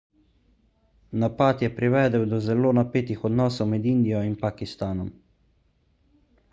napad je privedel do zelo napetih odnosov med indijo in pakistanom